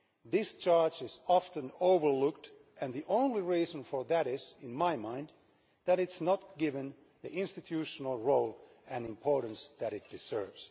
Discharge is often overlooked, and the only reason for that is, in my mind, that it is not given the institutional role and importance that it deserves.